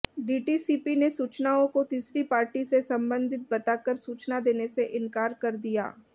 DTCP ने सूचनाओं को तीसरी पार्टी से संबंधित बताकर सूचना देने से इनकार कर दिया